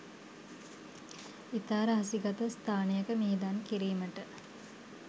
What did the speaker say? ඉතා රහසිගත ස්ථානයක මිහිදන් කිරීමට